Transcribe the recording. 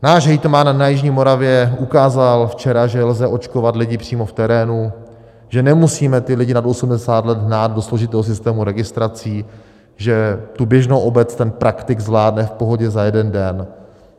Náš hejtman na jižní Moravě ukázal včera, že lze očkovat lidi přímo v terénu, že nemusíme ty lidi nad 80 let hnát do složitého systému registrací, že tu běžnou obec ten praktik zvládne v pohodě za jeden den.